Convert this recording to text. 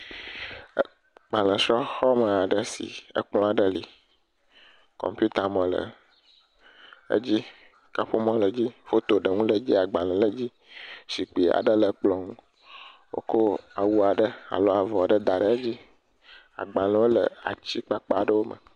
Ekplɔ dzi, didi ƒe mɔ le kplɔ dzi woŋui da ɖa anyi nuƒomɔ le kplɔ dzi nɔnɔmetatamɔ le kplɔ dzi agbalẽwo le kplɔ dzi. Agbalẽ geɖewo le megbe kpokpo le ŋgɔgbe etsi le dzi.